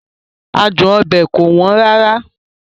Adun obe kò wọ́n rárá.